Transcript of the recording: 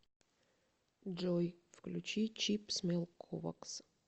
джой включи чип смэл ковакс